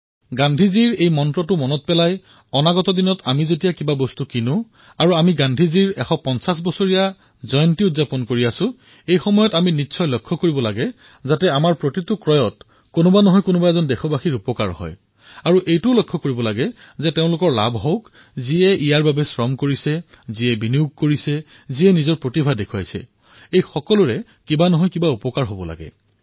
গান্ধীজীৰ এই মন্ত্ৰফাঁকি স্মৰণ কৰি অনাগত দিনত যেতিয়াই কিবা এটা কিনিব গান্ধীজীৰ ১৫০তম জয়ন্তী পালনৰ অৰ্থে আমি এয়া নিশ্চয়কৈ প্ৰত্যক্ষ কৰিম যে আমাৰ প্ৰতিটো ক্ৰয়ৰ দ্বাৰা কোনোবা নহয় কোনোবা এজন দেশবাসীৰ যাতে কল্যাণ হয় আৰু যিজনে মূৰৰ ঘাম মাটিত পেলাইইছে যিজনে নিজৰ টকা বিনিয়োগ কৰিছে যিজনে নিজৰ প্ৰতিভা বিনিয়োগ কৰিছে সকলোৰে কিবা নহয় কিবা প্ৰকাৰে লাভ হব লাগে